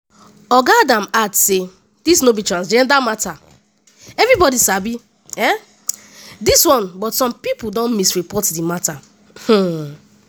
oga adams add say “dis no be transgender mata everibodi sabi um dis one but some pipo don misreport di mata. um